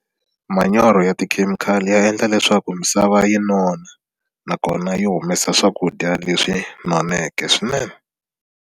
Manyoro ya tikhemikhali ya endla leswaku misava yi nona nakona yi humesa swakudya leswi noneke swinene.